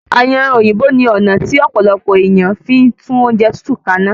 Ayanran òyìnbó ni ọna ti ọ̀pọ̀lọpọ̀ èèyàn fí ń tún oúnjẹ tútù kaná